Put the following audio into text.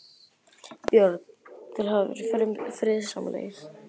Björn: Þeir hafa verið friðsamlegir?